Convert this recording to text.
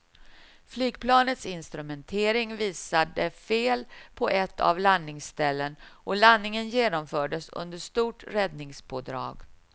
Flygplanets instrumentering visade fel på ett av landningsställen och landningen genomfördes under stort räddningspådrag.